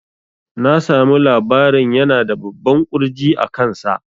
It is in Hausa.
Na samu labarin yana da babban ƙurji a kan sa